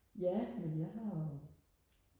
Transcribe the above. ja men jeg har jo